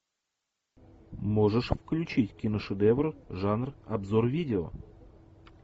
можешь включить киношедевр жанр обзор видео